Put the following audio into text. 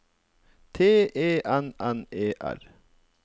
T E N N E R